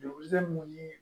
Juru mun ye